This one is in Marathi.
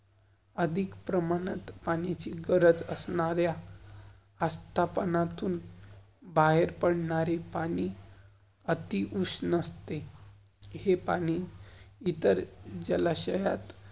अधिक प्रमाणात पाण्याची गरज असणार्या, अस्तापनातुन बाहेर पडणारे पाणी, आती उष्ण असते, हे पाणी इतर जलाशयात